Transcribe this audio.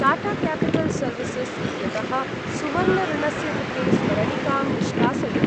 Tata capital services इत्यतः सुवर्ण ऋणस्य कृते स्मरणिकां निष्कासय।